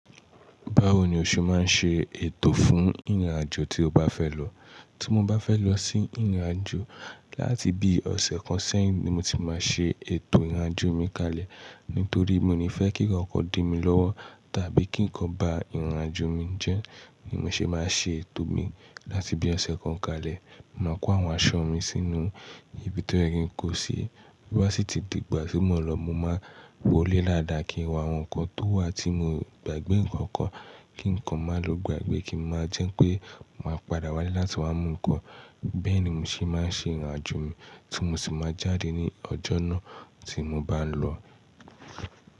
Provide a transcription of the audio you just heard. Báwo ni o ṣe máa ń ṣe ètò fún ìrìnàjò tí o bá fẹ́ lọ? Tí mo bá fẹ́ lọ sí ìrìnàjò láti bí ọ̀sẹ̀ kan sẹ́yìn ni mo ti máa ṣe ètò ìrìnàjò mi kalẹ̀. Nítorí mo ní fẹ́ kí ǹkankan dí mi lówó tàbí kí ǹkan ba ìrìnàjò mi jẹ́ ni mo ṣe máa ṣe ètò mi láti bí ọ̀sẹ̀ kan kalẹ̀. Maa kó àwọn aṣọ mi sínú ibi tó ye ki n ko ṣi. Bí ó bá sì ti dìgbà tí mo n lọ, mo máa wọlé daadàá kí n wo àwọn nǹkan tó wà tí mi o gbàgbé ǹkan kan, kí nkan máa lo gbàgbé kí ó máa jẹ́ pé mo máa padà wálé láti wá mú nkan. Bẹ́ẹ̀ ni mo ṣe máa ń ṣe ìrìnàjò mi tí mo sì máa jáde ní ọjọ́ náà tí mo bá ń lọ.